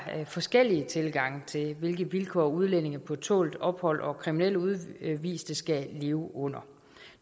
forskellige tilgange til hvilke vilkår udlændinge på tålt ophold og kriminelle udviste skal leve under